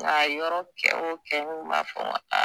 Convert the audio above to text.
Nga a yɔrɔ kɛ o kɛ u kun ma fara kan